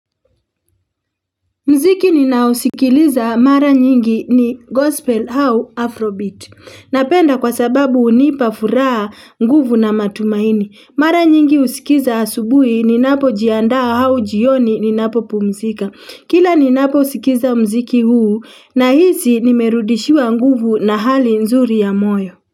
Mziki ninaosikiliza mara nyingi ni gospel hau afrobeat. Napenda kwa sababu hunipa furaha nguvu na matumaini. Mara nyingi husikiza asubuhi ninapo jianda hau jioni ninapo pumzika. Kila ninapo skiza mziki huu nahisi nimerudishiwa nguvu na hali nzuri ya moyo.